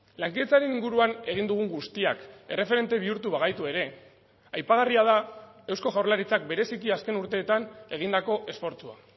lankidetzaren inguruan egin dugun guztiak erreferente bihurtu bagaitu ere aipagarria da eusko jaurlaritzak bereziki azken urteetan egindako esfortsua